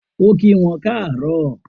O kí wọn kaaro